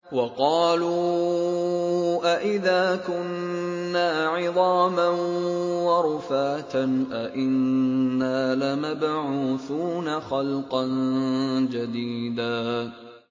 وَقَالُوا أَإِذَا كُنَّا عِظَامًا وَرُفَاتًا أَإِنَّا لَمَبْعُوثُونَ خَلْقًا جَدِيدًا